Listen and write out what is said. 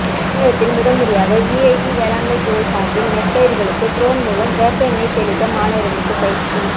தமிழகத்தில் முதன்முறையாக விஐடி வேளாண்மைத்துறை சார்பில் நெற்பயிர்களுக்கு ட்ரோன் மூலம் வேப்ப எண்ணெய் தெளிக்க மாணவர்களுக்கு பயிற்சி